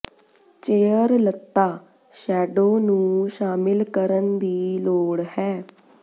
chair ਲਤ੍ਤਾ shadow ਨੂੰ ਸ਼ਾਮਿਲ ਕਰਨ ਦੀ ਲੋੜ ਹੈ